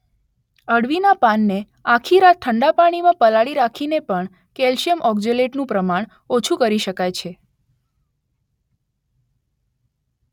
અળવીના પાનને આખી રાત ઠંડા પાણીમાં પલાળી રાખીને પણ કેલ્શિયમ ઓક્ઝેલેટનું પ્રમાણ ઓછું કરી શકાય છે